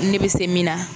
Ne bɛ se min na